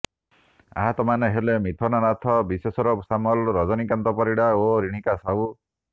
ଆହତମାନେ ହେଲେ ମିଥୁନ ନାଥ ବିଶେଶ୍ବର ସାମଲ ରଜନୀକାନ୍ତ ପରିଡ଼ା ଓ ରିଣିକା ସାହୁ